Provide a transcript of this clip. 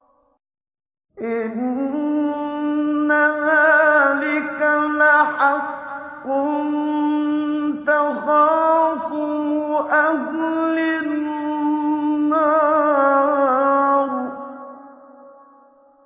إِنَّ ذَٰلِكَ لَحَقٌّ تَخَاصُمُ أَهْلِ النَّارِ